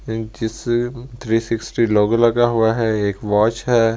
जिस three sixty लोगों लगा हुआ है एक वाच है।